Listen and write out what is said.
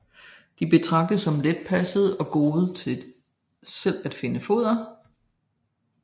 De betragtes som letpassede og gode til selv at finde foder